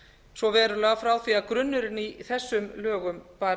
svo verulega frá því að grunnurinn í þessum lögum var